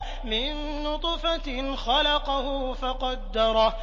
مِن نُّطْفَةٍ خَلَقَهُ فَقَدَّرَهُ